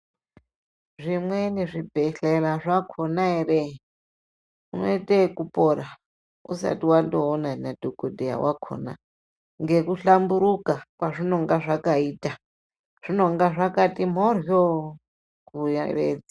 Zvimweni zvibhehlera zvakona ere, unoite yekupora usati wandoona nadhokodhetya wakhona ngekuhlamburuka kwazvinonga zvakaita, zvinenge zvakati mhoryo kuyevedza.